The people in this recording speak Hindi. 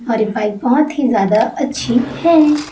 और ये पाइप बहुत ही ज्यादा अच्छी है।